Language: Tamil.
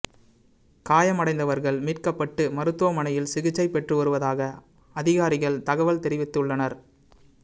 காயமடைந்தவர்கள் மீட்க்கப்பட்டு மருத்துவமனையில் சிகிச்சை பெற்று வருவதாக அதிகாரிகள் தகவல் தெரிவிவித்துள்ளனர்